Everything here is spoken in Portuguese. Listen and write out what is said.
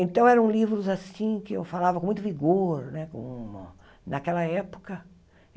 Então, eram livros assim que eu falava com muito vigor né com naquela época.